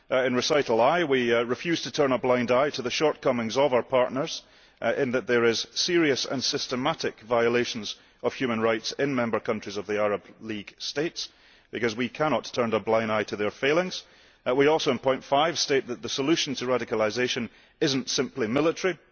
In Recital I, we refuse to turn a blind eye to the shortcomings of our partners in that there are serious and systematic violations of human rights in member countries of the Arab League states, because we cannot turn a blind eye to their failings. We also, in point 5, state that the solution to radicalisation is not simply military.